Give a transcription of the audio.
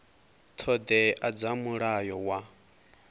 ṱho ḓea dza mulayo wa